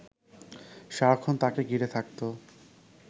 সারাক্ষণ তাঁকে ঘিরে থাকত